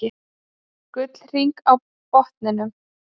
Gullhring á botninum.